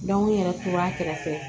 n yɛrɛ tora a kɛrɛfɛ